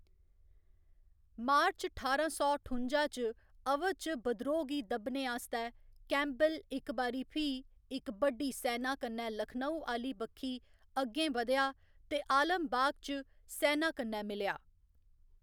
मार्च ठारां सौ ठुंजा च, अवध च बद्रोह गी दब्बने आस्तै कैंपबेल इक बारी फ्ही इक बड्डी सैना कन्नै लखनऊ आह्‌ली बक्खी अग्गें बधेआ ते आलमबाग च सैना कन्नै मिलेआ।